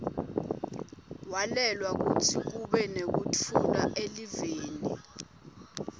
walwela kutsi kube nektfula eliveni